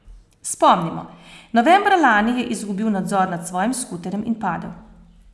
Spomnimo, novembra lani je izgubil nadzor nad svojim skuterjem in padel.